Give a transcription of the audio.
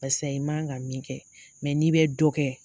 Barisa i man kan ka min kɛ mɛ n'i bɛ dɔ kɛ